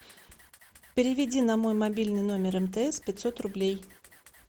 переведи на мой мобильный номер мтс пятьсот рублей